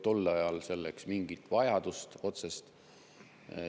Tol ajal ei olnud selleks mingit otsest vajadust.